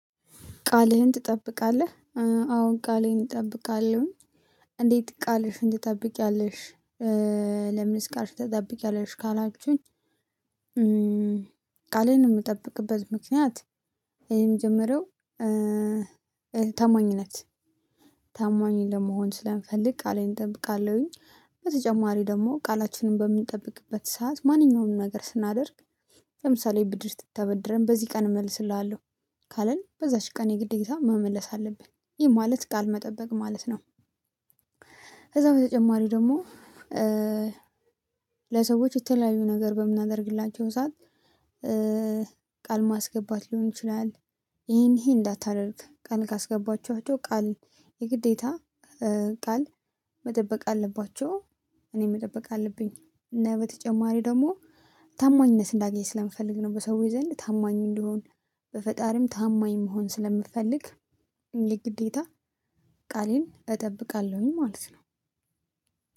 ቃልህን ትጠብቃለህ? አዎን ቃሌን እጠብቃለሁ። እንዴት ቃልሽን ትጠብቂያለሽ? ለምንስ ቃልሽን ትጠብቂያለሽ ካላችሁኝ። ቃሌን የምጠብቅበት ምክንያት የምጀምረው ታማኝነት ታማኝ ለመሆን ስለምፈልግ ቃሌን እጠብቃለሁኝ። በተጨማሪ ደግሞ ቃላችንን በምንጠብቅበት ሰዓት ማንኛውንም ነገር ስናደርግ። ለምሳሌ ብድር ስታበድረን በዚህ ቀን እመልስልሃለሁ። ካለን በዛች ቀን የግዴታ መመለስ አለብን ይህ ማለት ቃል መጠበቅ ማለት ነው። ከዛ በተጨማሪ ደግሞ። ለሰዎች የተለያዩ ነገር በምናደርግላቸው ሰዓት ቃል ማስገባት ሊሆን ይችላል። ይሄን ይሄን እንዳታደርግ ቃል ካስገባችኋቸው ቃል የግዴታ ቃል መጠበቅ አለባቸው። እኔም መጠበቅ አለብኝ እና በተጨማሪ ደግሞ ታማኝነት እንዳገኝ ስለምፈልግ ነው። በሰዎች ዘንድ ታማኙ እንዲሆን። በፈጣሪም ታማኝ መሆን ስለምፈልግ የግዴታ ቃሌን እጠብቃለሁኝ ማለት ነው።